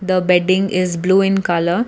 the bedding is blue in colour.